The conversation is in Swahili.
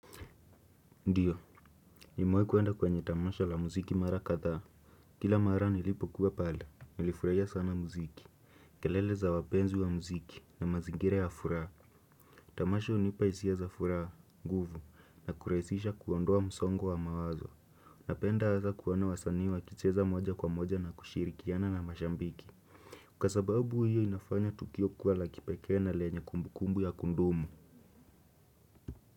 Ndiyo, nimewai kuenda kwenye tamasha la muziki mara katha. Kila mara nilipo kuwa pale nilifuraia sana muziki. Kelele za wapenzi wa muziki na mazingira ya furaha. Tamasha unipa isia za furaha, nguvu, na kuraisisha kuondoa msongo wa mawazo. Napenda hasa kuwana wasani wakicheza moja kwa moja na kushirikiana na mashambiki. Kwa sababu hiyo inafanya tukio kuwa la kipeke na lenye kumbu kumbu ya kundumu.